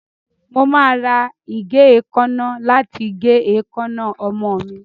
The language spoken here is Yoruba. Mo máa ra ìgé èékánná láti gé èékánná ọmọ mi.